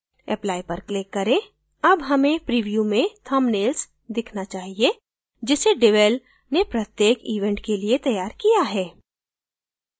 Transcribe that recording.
apply पर click करें अब हमें preview में thumbnails दिखना चाहिए जिसे devel ने प्रत्येक event के लिए तैयार किया है